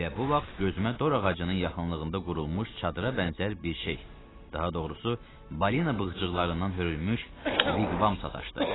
Elə bu vaxt gözümə dor ağacının yaxınlığında qurulmuş çadıra bənzər bir şey, daha doğrusu, balina bığcıqlarından hörülmüş viqvam sataşdı.